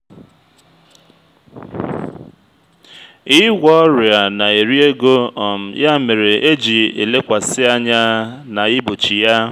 ịgwọ ọrịa na-eri ego um ya mere eji elekwasị anya na igbochi ya